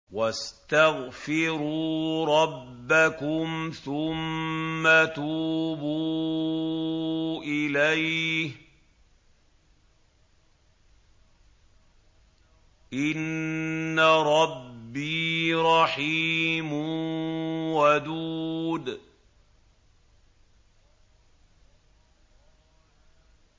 وَاسْتَغْفِرُوا رَبَّكُمْ ثُمَّ تُوبُوا إِلَيْهِ ۚ إِنَّ رَبِّي رَحِيمٌ وَدُودٌ